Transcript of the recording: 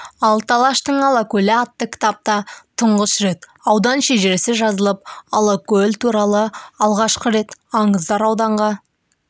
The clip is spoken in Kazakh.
алты алаштың алакөлі атты кітапта тұңғыш рет аудан шежіресі жазылып алакөл туралы алғаш рет аңыздар ауданға